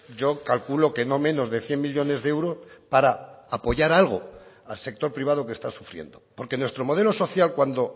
yo calculo que no menos de cien millónes de euros para apoyar algo al sector privado que está sufriendo porque nuestro modelo social cuando